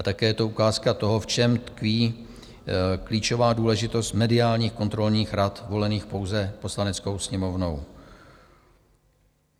A také je to ukázka toho, v čem tkví klíčová důležitost mediálních kontrolních rad volených pouze Poslaneckou sněmovnou.